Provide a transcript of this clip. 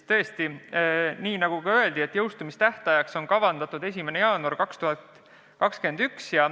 Tõesti, nagu ka öeldi, jõustumistähtajaks on kavandatud 1. jaanuar 2021.